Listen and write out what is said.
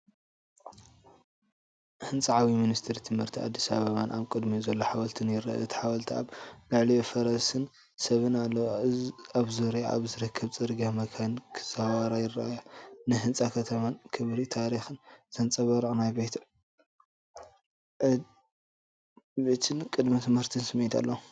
ህንጻ ዓብዪ ሚኒስትሪ ትምህርቲ ኣዲስ ኣበባን ኣብ ቅድሚኡ ዘሎ ሓወልቲን ይርአ። እቲ ሓወልቲ ኣብ ልዕሊኡ ፈረስን ሰብን ኣለዎ። ኣብ ዙርያኣ ኣብ ዝርከብ ጽርግያ መካይን ክዘዋወራ ይረኣያ። ንጽህና ከተማን ክብሪ ታሪኽን ዘንጸባርቕ ናይ ዕቤትን ቅድመ ትምህርቲን ስምዒት ኣለዎ።